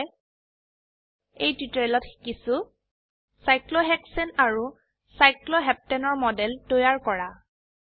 সংক্ষেপে এই টিউটোৰিয়েলত শিকিছো সাইক্লোহেক্সেন আৰু সাইক্লোহপেন্টেনৰ মডেল তৈয়াৰ কৰা